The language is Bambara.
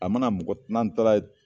A mana mɔgɔ n'an taara ye